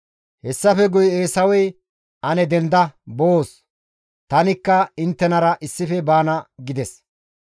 Hessafe guye Eesawey, «Denda ane boos; tanikka inttenara issife baana» gides.